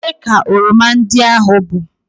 ole ka oroma ndị a bụ?